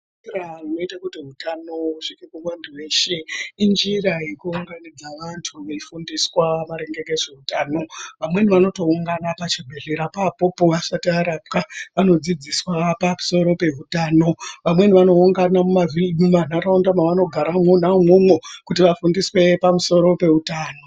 Njira inoita kuti utano husvike kuvantu veshe injira yekuunganidza vantu ve ifundiswa maringe ngezveutano vamweni vanoungana pachibhedhlera papopo asati arapwa anodzidziswa pamusoro peutano amweni anoungana mumavhi mumantaraunda mwavanogara mwona umwomwo kuti vafundiswe pamusoro peutano.